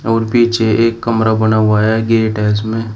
और पीछे एक कमरा बना हुआ है गेट है इसमें।